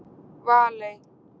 Valey